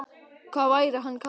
hvað væri hann kallaður?